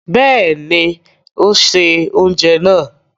Bẹ́ẹ̀ni, ó se oúnjẹ náà.